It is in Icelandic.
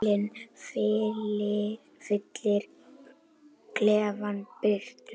Sólin fyllir klefann birtu.